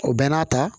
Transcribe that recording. O bɛɛ n'a ta